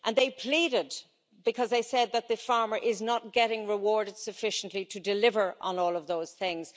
They pleaded, because they said that the farmer is not getting rewarded sufficiently to deliver on all of those things.